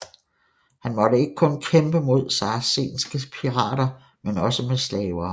Han måtte ikke kun kæmpe mod saracenske pirater men også med slavere